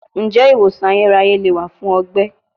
Njẹ iwosan ayeraye le wa fun ọgbẹ?